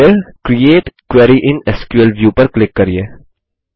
और फिर create query in SQL view पर क्लिक करिये